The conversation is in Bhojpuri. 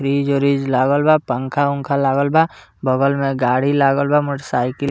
फ्रिज - उरिज लागल बा पंखा-ऊंखा लागल बा बगल में गाड़ी लागल बा मोटर साईकिल --